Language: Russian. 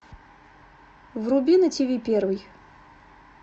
вруби на тв первый